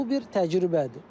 Bu bir təcrübədir.